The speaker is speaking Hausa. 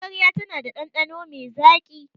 Magarya tana da ɗanɗano mai zaƙi.